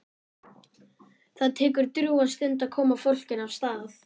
Það tekur drjúga stund að koma fólkinu af stað.